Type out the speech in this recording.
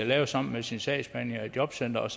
lave sammen med sin sagsbehandler i jobcenteret